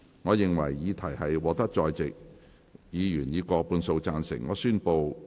我認為議題獲得在席議員以過半數贊成。